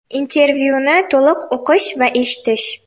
Intervyuni to‘liq o‘qish va eshitish .